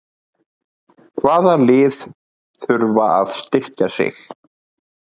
Hvaða lið þurfa að styrkja sig?